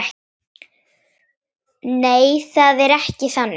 Nei, það er ekki þannig.